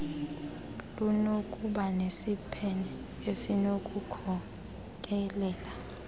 lunokuba nesiphene esinokukhokelela